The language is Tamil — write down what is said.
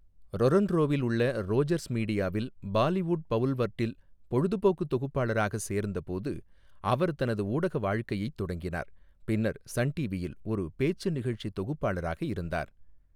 ரொறொன்ரோவில் உள்ள ரோஜர்ஸ் மீடியாவில் பாலிவுட் பவுல்வர்டில் பொழுதுபோக்கு தொகுப்பாளராக சேர்ந்தபோது அவர் தனது ஊடக வாழ்க்கையைத் தொடங்கினார், பின்னர் சன் டிவியில் ஒரு பேச்சு நிகழ்ச்சி தொகுப்பாளராக இருந்தார்.